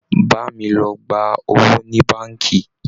Bá mi lọ gba owó ní báǹkì!